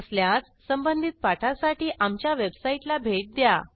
नसल्यास संबंधित पाठासाठी आमच्या वेबसाईटला भेट द्या